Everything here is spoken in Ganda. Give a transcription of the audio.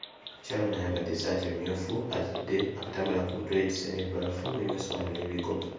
Mukyala ono ayambadde essaati emmyufu azadde akatambaala ku mutwe yeetisse n'ebbaafu mulimu essowaani n'ebikopo.